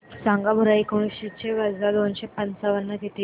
सांगा बरं एकोणीसशे वजा दोनशे पंचावन्न किती